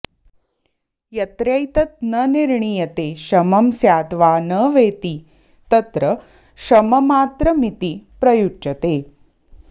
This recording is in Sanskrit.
यत्रैतन्न निर्णीयते शमं स्याद्वा न वेति तत्र शममात्रमिति प्रयुच्यते